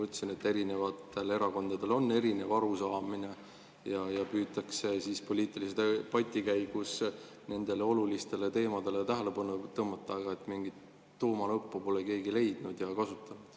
Nii nagu ma ütlesin, erakondadel on erinevad arusaamad ja püütakse poliitilise debati käigus nendele olulistele teemadele tähelepanu tõmmata, aga mingit tuumanuppu pole keegi leidnud ega kasutanud.